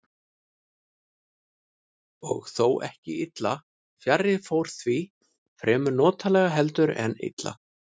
Og þó ekki illa, fjarri fór því, fremur notalega heldur en illa.